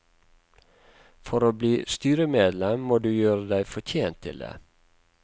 For å bli styremedlem, må du gjøre deg fortjent til det.